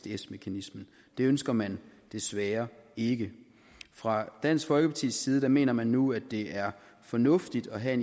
isds mekanismen det ønsker man desværre ikke fra dansk folkepartis side mener man nu at det er fornuftigt at have